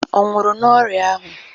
Ọ nwụrụ n'ọrịa ahụ?